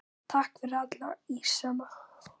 Takk fyrir alla ísana.